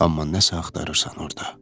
Amma nəsə axtarırsan orda.